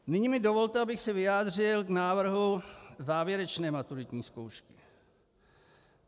Nyní mi dovolte, abych se vyjádřil k návrhu závěrečné maturitní zkoušky.